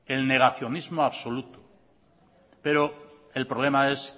el negacionismo absoluto pero el problema es